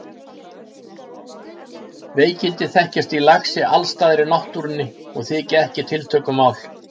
Veikindi þekkjast í laxi alls staðar í náttúrunni og þykja ekki tiltökumál.